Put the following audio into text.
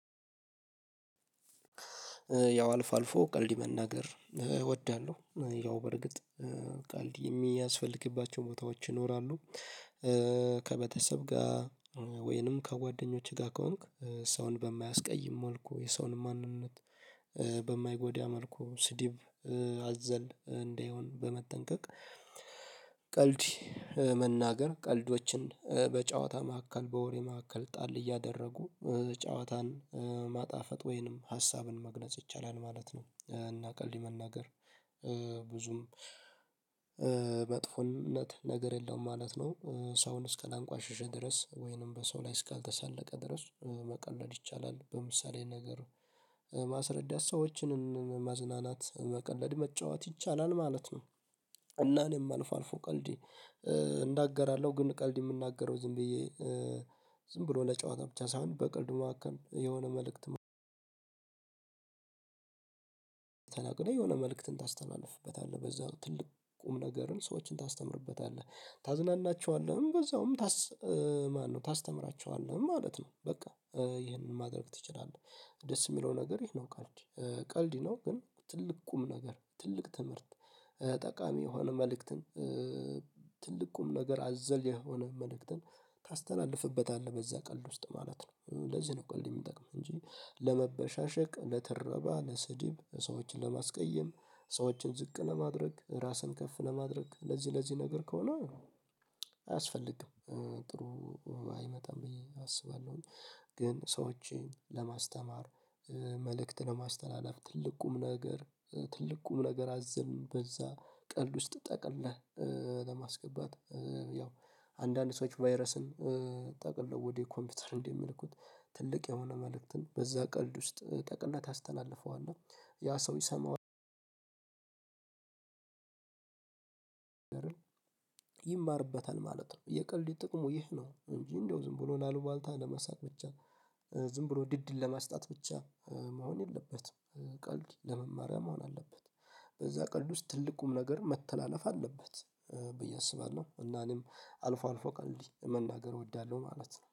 ያው አልፎ አልፎ ቀልድ መናገር እወዳለሁ። ያው በርግጥ ቀልድ የሚያስፈልግባቸው ቦታዎች ይኖራሉ። ከቤተሰብ ጋር ወይንም ከጓደኞቼ ጋር ከሆንኩ ሰውን በማያስቀይም መልኩ፤ የሰውን ማንነት በማይጎዳ መልኩ፤ ስድብ አዘል እንዳይሆን በመጠንቀቅ ቀልድ መናገር ቀልዶችን በጨዋታ መካከል በወሬ መካከል ጣል እያደረጉ ጨዋታን ማጣፈጥ ወይንም ሀሳብን መግለጽ ይቻላል ማለት ነው። እና ቀልድ መናገር ብዙም መጥፎነት ነገር የለውም ማለት ነው። ሰውን እስካላንቋሸሸ ድረስ ወይንም በሰው ላይ እስካልተሳለቀ ድረስ መቀለድ ይቻላል። በምሳሌ ነገር ማስረዳት ሰዎችንን ማዝናናት መቀለድ መጫወት ይቻላል ማለት ነው እና እኔም አልፎ አልፎ ቀልድ እንዳገራለሁ ግን ቀልድ የምናገረው ዝም ብዬ ዝም ብሎ ለጨዋታ ብቻ ሳይሆን በቀልድ መሀከል የሆነ መልእክት መልእክት ተናግሬ የሆነ መልእክትን ታስተላልፍበታለህ። በዛ ትልቅ ቁም ነገርን ሰዎችን ታስተምርበታለህ። ታዝናናቸዋለህም በዛውም ማነው ታስተምራቸዋለህም ማለት ነው በቃ። ይሄንን ማድረግ ትችላለህ። ደስ የሚለው ነገር ይህ ነው ቀልድ። ቀልድ ነው ግን ትልቅ ቁም ነገር፣ ትልቅ ትምህርት፣ ጠቃሚ የሆነ መልእክትን ትልቅ ቁም ነገር አዘል የሆነ መልእክትን ታስተላልፍበታለህ በዛ ቀልድ ውስጥ ማለት ነው። ለዚህ ነው ቀልድ የሚጠቅም እንጂ ለመበሻሸቅ፣ ለተረባ፣ ለስድብ፣ ሰዎችን ለማስቀየም፣ ሰዎችን ዝቅ ለማድረግ፣ ራስን ከፍ ለማድረግ ለዚህ ለዚህ ነገር ከሆነ አያስፈልግም ጥሩ አይመጣም ብዬ አስባለሁኝ። ግን ሰዎችን ለማስተማር፤ መልእክት ለማስተላለፍ፤ ትልቅ ቁም ነገር ትልቅ ቁም ነገር አዘል በዛ ቀልድ ውስጥ ጠቅልለህ ለማስገባት ያው አንዳንድ ሰዎች ቫይረስን ጠቅልለው ወደ ኮምፒውተር እንደሚልኩት ትልቅ የሆነ መልእክትን በዛ ቀልድ ውስጥ ጠቅልለህ ታስተላልፈዋለህ ያ ሰው ይሰማዋል ይማርበታል ማለት ነው የቀልድ ጥቅሙ ይህ ነው እንጂ እንደው ዝም ብሎ ለአሉባልታ ለመሳቅ ብቻ ዝም ብሎ ድድን ለማስጣት ብቻ መሆን የለበትም። ቀልድ ለመማሪያ መሆን አለበት። በዛ ቀልድ ውስጥ ትልቅ ቁም ነገር መተላለፍ አለበት። ብዬ አስባለሁ እና እኔም አልፎ አልፎ ቀልድ መናገር እወዳለሁ ማለት ነው።